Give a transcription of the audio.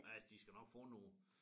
Og altså de skal nok få nogle